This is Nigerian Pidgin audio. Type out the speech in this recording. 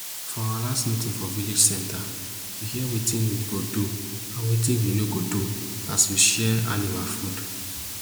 for our last meeting for village center we hear wetin we go do and wetin we no go do as we share animal food